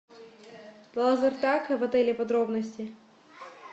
лазертаг в отеле подробности